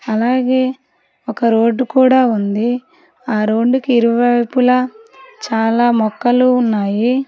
అలాగే ఒక రోడ్డు కూడా ఉంది ఆ రోడ్డుకి ఇరువైపులా చాలా మొక్కలు ఉన్నాయి.